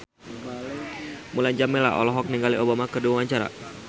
Mulan Jameela olohok ningali Obama keur diwawancara